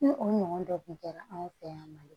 Ni o ɲɔgɔn dɔ kun kɛra anw fɛ yan mali